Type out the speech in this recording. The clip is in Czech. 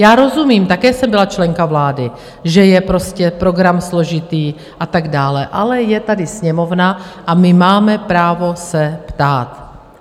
Já rozumím - také jsem byla členka vlády - že je prostě program složitý a tak dále, ale je tady Sněmovna a my máme právo se ptát.